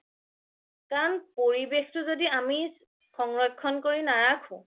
কাৰণ পৰিবেশটো য্দি আমি সংৰক্ষণ কৰি নাৰাখো